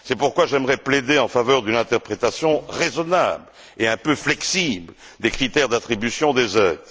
C'est pourquoi j'aimerais plaider en faveur d'une interprétation raisonnable et un peu flexible des critères d'attribution des aides.